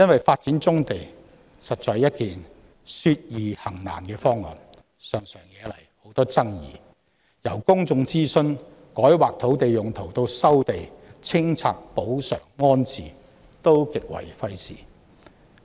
發展棕地實在說易行難，常常惹來很多爭議，由公眾諮詢、改劃土地用途至收地、清拆、賠償、安置等各個程度均極為費時。